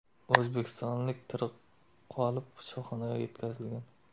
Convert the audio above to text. O‘zbekistonlik tirik qolib, shifoxonaga yetkazilgan.